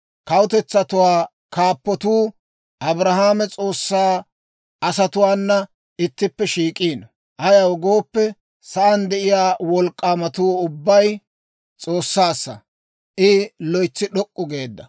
Kawutetsatuwaa kaappatuu, Abrahaama S'oossaa asatuwaana ittippe shiik'iino. Ayaw gooppe, sa'aan de'iyaa wolk'k'aamatuu ubbay S'oossaassa; I loytsi d'ok'k'u geedda.